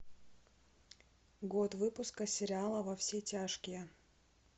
год выпуска сериала во все тяжкие